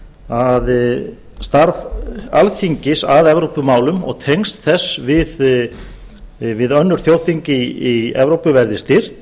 að starf alþingis að evrópumálum og tengsl þess við önnur þjóðþing í evrópu verði styrkt